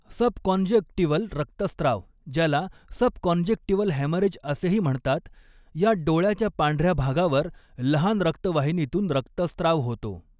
Subconjunctival रक्तस्राव, ज्याला subconjunctival haemorrhage असेही म्हणतात, यात डोळ्याच्या पांढऱ्या भागावर लहान रक्तवाहिनीतून रक्तस्त्राव होतो.